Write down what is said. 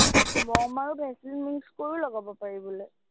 মম আৰু vaseline mix কৰিও লগাব পাৰি বোলে।